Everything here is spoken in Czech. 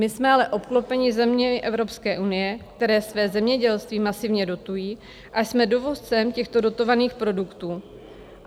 My jsme ale obklopeni zeměmi Evropské unie, které své zemědělství masivně dotují, a jsme dovozcem těchto dotovaných produktů.